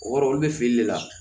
O kɔrɔ olu bɛ feere de la